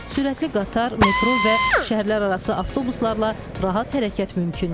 Sürətli qatar, metro və şəhərlərarası avtobuslarla rahat hərəkət mümkündür.